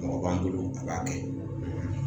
Mɔgɔ b'an bolo a b'a kɛ